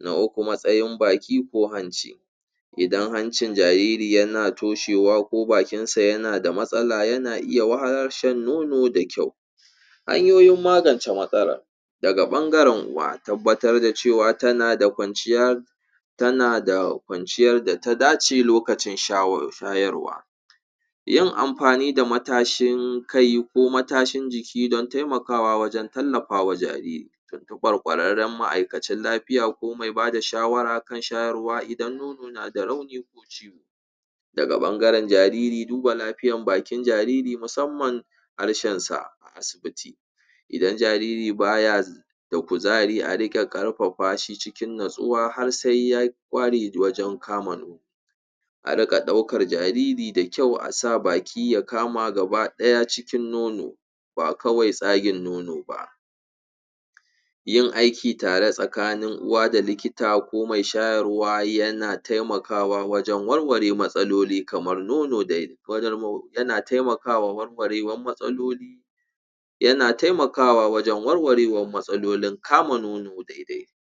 na uku matsayin baki ko hanci idan hancin jariri yana toshewa ko bakinsa yana da matsala yana iya wahalar shan nono da kyau hanyoyin magance matsala daga ɓangaran uwa tabbatar da cewa tana da ƙwanciyar tana da ƙwanciyar data dace lokacin shayarwa yin amfani da matashin kai ko matashin jiki don taimakawa wajan tallafawa jariri ƙwarƙwararran ma'aikacin lafiya ko me bada shawara idan nono nada rauni ko daga ɓangaran jariri duba lafiyan bakin jaririmusamman harshensa asibiti idan jariri baya da kuzari a riƙa ƙarfafashi cikin nutsuwa har sa ya ƙware wajan kama nono a riƙa ɗaukar jariri da kyau asa baki ya kama gaba ɗaya cikin nono ba kawai tsagin nono ba yin aiki tare tsakanin uwa da likita ko mai shayarwa yana taimakawa wajan warwarewar matsaloli kamar nono yana taimakawa warwarewar matsaloli yana taimakawa wajan warwarewar matsalolin kama nono daidai